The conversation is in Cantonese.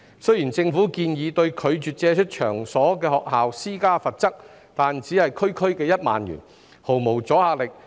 雖然政府建議對拒絕借出場所的學校施加罰則，但只是區區1萬元，毫無阻嚇力。